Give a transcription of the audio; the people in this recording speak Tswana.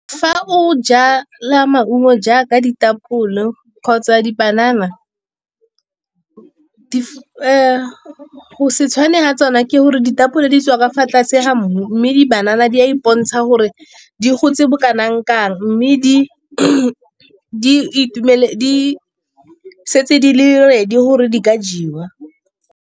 Fa o jala maungo jaaka ditapole go kgotsa dipanana go se tshwane ga tsona ke gore ditapole di tswa ka fa tlase ga mmu, mme di-banana di a ipontsha gore di gotse bo kanang kang, mme di setse di le ready gore di ka jewa.